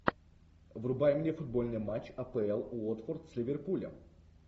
врубай мне футбольный матч апл уотфорд с ливерпулем